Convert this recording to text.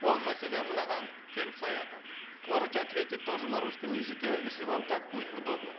ол мәселе мынаған келіп саяды можете ответить тоже на русском языке если вам так будет удобно